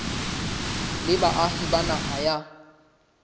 le baahi ba naha ya